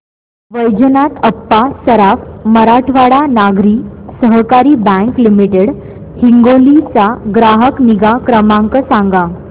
वैजनाथ अप्पा सराफ मराठवाडा नागरी सहकारी bank limited Hingoli चा ग्राहक निगा क्रमांक सांगा